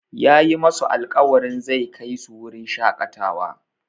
Yayi masu alƙawarin zai kai su wurin shaƙatawa.